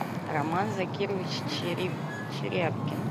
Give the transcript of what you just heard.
роман закирович черябкин